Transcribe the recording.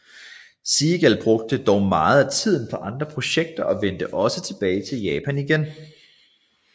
Seagal brugte dog meget af tiden på andre projekter og vendte også tilbage til Japan igen